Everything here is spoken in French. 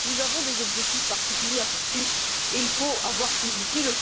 Nous avons des objectifs particuliers à poursuivre et il faut avoir ces outils.